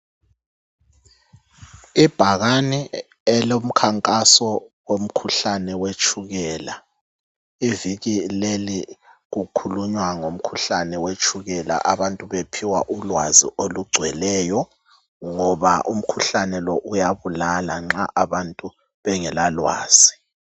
Ibhakane elomkhankaso womkhuhlane wetshukela iviki leli kukhulunywa ngomkhuhlane wetshukela abantu bephiwa ulwazi olugcweleyo ngoba umkhuhlane lo uyabulala nxa abantu bengelalwazi